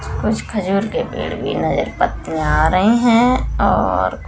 कुछ खुजूर के पड़े भी नजर पत्ते आ रहे है और--